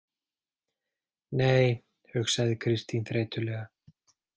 Nei, hugsaði Kristín þreytulega.